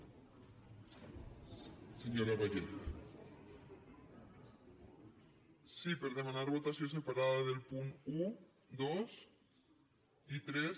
sí per demanar votació separada dels punts un dos i tres